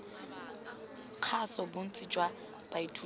kgaso bontsi jwa baithuti jwa